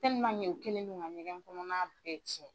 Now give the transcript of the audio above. u kɛlen don ka ɲɛgɛn kɔnɔna bɛɛ cɛn.